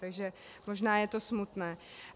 Takže možná je to smutné.